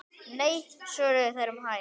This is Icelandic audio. Nei svöruðu þeir um hæl.